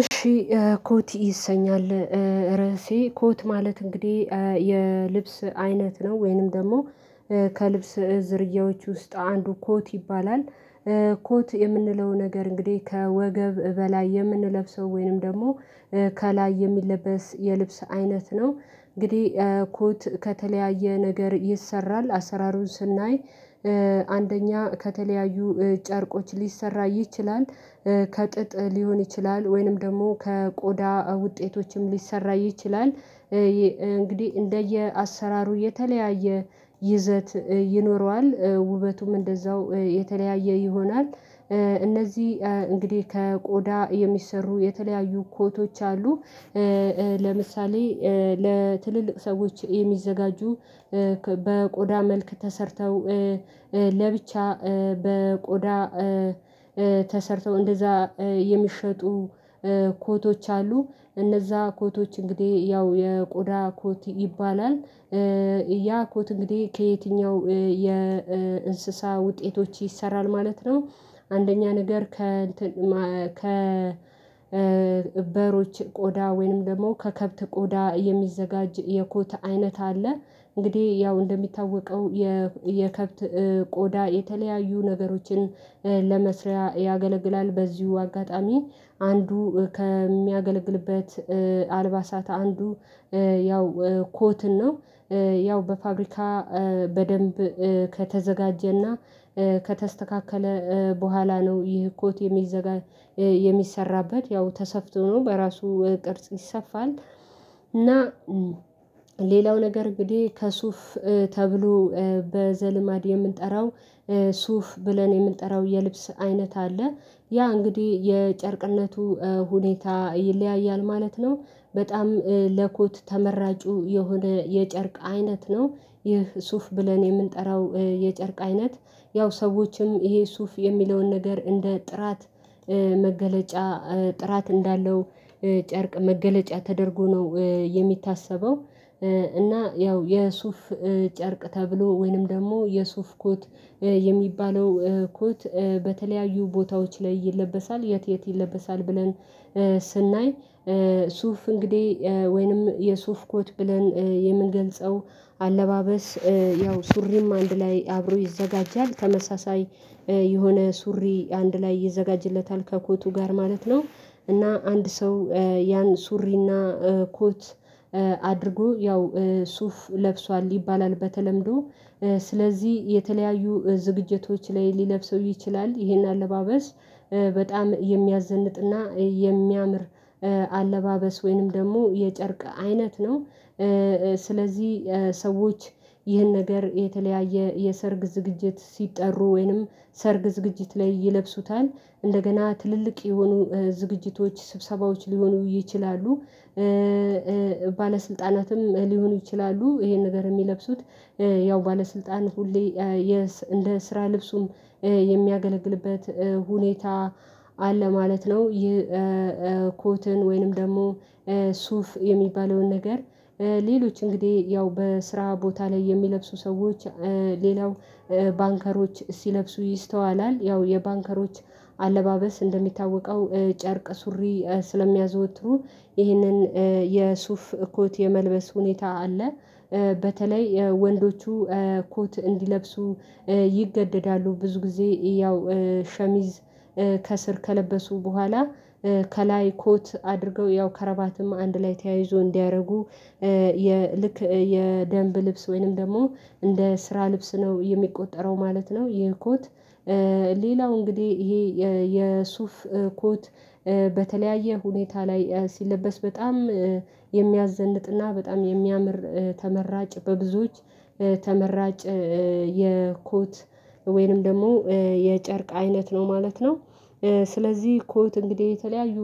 እሺ ኮት ይሰኛል ርዕሴ ኮት ማለት እንግዲህ የልብስ አይነት ነው ወይንም ደግሞ ከልብስ ዝርያዎች ውስጥ አንዱ ኮት ይባላል ኮት የምንለው ነገር እንግዲህ ከወገብ በላይ የምንለብሰው ወይንም ደግሞ ከላይ የሚለበስ የልብስ አይነት ነው። እንግዲህ ኮት ከተለያየ ነገር ይሰራል አሰራሩን ስናይ አንደኛ ከተለያዩ ጨርቆች ሊሰራ ይችላል ከጥጥ ሊሆን ይችላል ወይንም ደግሞ ከቆዳ ውጤቶችም ሊሰራ ይችላል እንግዲህ እንደየአሰራሩ የተለያየ ይዘት ይኖረዋል። ውበቱም እንደዛው የተለያየ ይሆናል። እነዚህ እንግዲህ ከቆዳ የሚሰሩ የተለያዩ ኮቶች አሉ ለምሳሌ ለትልልቅ ሰዎች የሚዘጋጁ በቆዳ መልክ ተሰርተው ለብቻ በቆዳ ተሰርተው እንደዛ የሚሸጡ ኮቶች አሉ። እነዛ ኮቶች እንግዲህ ያው የቆዳ ኮት ይባላል ያ ኮት እንግዲህ ከየትኛው የእንስሳ ውጤቶች ይሰራል ማለት ነው አንደኛ ነገር ከእንትን ማ ከ በሮች ቆዳ ወይንም ደግሞ ከከብት ቆዳ የሚዘጋጅ የኮት አይነት አለ። እንግዲህ ያው እንደሚታወቀው የከብት ቆዳ የተለያዩ ነገሮችን ለመስሪያ ያገለግላል በዚሁ አጋጣሚ አንዱ ከሚያገለግልበት አልባሳታ አንዱ ያው ኮትን ነው ያው በፋብሪካ በደንብ ከተዘጋጀና ከተስተካከለ በኋላ ነው ይህ ኮት የሚዘጋ የሚሰራበት ያው ተሰፍቶ ነው በራሱ ቅርጽ ይሰፋል እና ሌላው ነገር እንግዲህ ከሱፍ ተብሎ በዘልማድ የምንጠራው ሱፍ ብለን የምንጠራው የልብስ አይነት አለ። ያ እንግዲህ የጨርቅነቱ ሁኔታ ይለያያል ማለት ነው። በጣም ለኮት ተመራጩ የሆነ የጨርቅ አይነት ነው። ይህ ሱፍ ብለን የምንጠራው የጨርቅ አይነት ያው ሰዎችም ይሄ ሱፍ የሚለውን ነገር እንደ ጥራት መገለጫ ጥራት እንዳለው ጨርቅ መገለጫ ተደርጎ ነው የሚታሰበው እና ያው የሱፍ ጨርቅ ተብሎ ወይንም ደግሞ የሱፍ ኮት የሚባለው ኮት በተለያዩ ቦታዎች ላይ ይለበሳል። የት የት ይለበሳል ብለን ስናይ ሱፍ እንግዲህ ወይንም የሱፍ ኮት ብለን የምንገልጸው አለባበስ ያው ሱሪም አንድ ላይ አብሮ ይዘጋጃል ተመሳሳይ የሆነ ሱሪ አንድ ላይ ይዘጋጅለታል ከኮቱ ጋር ማለት ነው እና አንድ ሰው ያን ሱሪና ኮት አድርጎ ያው ሱፍ ለብሷል ይባላል በተለምዶ ስለዚህ የተለያዩ ዝግጅቶች ላይ ሊለብሰው ይችላል ይሄን አለባበስ። በጣም የሚያዘንጥና የሚያምር አለባበስ ወይንም ደግሞ የጨርቅ አይነት ነው ስለዚህ ሰዎች ይህን ነገር የተለያየ የሰርግ ዝግጅት ሲጠሩ ወይንም ሰርግ ዝግጅት ላይ ይለብሱታል። እንደገና ትልልቅ የሆኑ ዝግጅቶች ስብሰባዎች ሊሆኑ ይችላሉ። ባለስልጣናትም ሊሆኑ ይችላሉ ይሄን ነገር የሚለብሱት ያው ባለስልጣን ሁሌ እንደ ስራ ልብሱም የሚያገለግልበት ሁኔታ አለ ማለት ነው ይህ ወይንም ደግሞ ሱፍ የሚባለውን ነገር ሌሎች እንግዲህ ያው በስራ ቦታ የሚለብሱ ሰዎች ሌላው ባንከሮች ሲለብሱ ይስተዋላል። ያው የባንከሮች አለባበስ እንደሚታወቀው ጨርቅ ሱሪ ስለሚያዘወትሩ ይህንን የሱፍ ኮት የመልበስ ሁኔታ አለ። በተለይ ወንዶቹ ኮት እንዲለብሱ ይገደዳሉ። ብዙ ጊዜ ያው ሸሚዝ ከስር ከለበሱ በኋላ ከላይ ኮት አድርገው ያው ከረባትም አንድ ላይ ተያይዞ እንዲያደርጉ ልክ የደንብ ልብስ ወይንም ደግሞ እንደ ስራ ልብስ ነው የሚቆጠረው ማለት ነው ይሄ ኮት ሌላው እንግዲህ ይሄ የሱፍ ኮት በተለያየ ሁኔታ ላይ ሲለበስ በጣም የሚያዘንጥና በጣም የሚያምር ተመራጭ በብዙዎች ተመራጭ የኮት ወይንም ደግሞ የጨርቅ አይነት ነው ማለት ነው ስለዚህ ኮት እንግዲህ የተለያዩ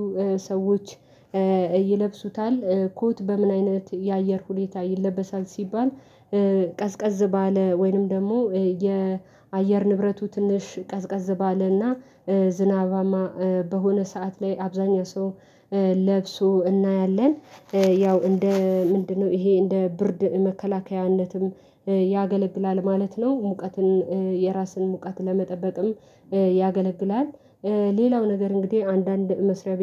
ሰዎች ይለብሱታል። ኮት በምን አይነት የአየር ሁኔታ ይለበሳል ሲባል ባለ ወይንም ደግሞ የአየር ንብረቱ ትንሽ ቀዝቀዝ ባለና ዝናባማ በሆነ ሰዓት ላይ አብዛኛው ሰው ለብሶ እናያለን ያው እንደ ምንድነው ይሄ እንደ ብርድ መከላከያነትም ያገለግላል ማለት ነው። ሙቀትን የራስን ሙቃት ለመጠበቅም ያገለግላል። ሌላው ነገር እንግዲህ አንዳንድ መስሪያ ቤት